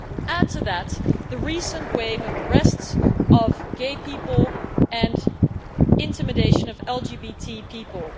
Add to that the recent wave of arrests of gay people and the intimidation of LGBT people.